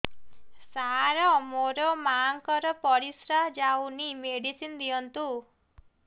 ସାର ମୋର ମାଆଙ୍କର ପରିସ୍ରା ଯାଉନି ମେଡିସିନ ଦିଅନ୍ତୁ